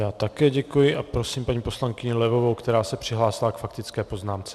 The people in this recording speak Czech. Já také děkuji a prosím paní poslankyni Levovou, která se přihlásila k faktické poznámce.